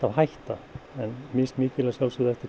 hætta en mismikil að sjálfsögðu eftir